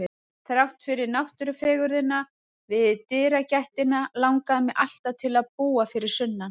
Þrátt fyrir náttúrufegurðina við dyragættina langaði mig alltaf til að búa fyrir sunnan.